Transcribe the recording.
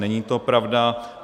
Není to pravda.